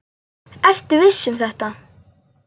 Ertu viss um þetta?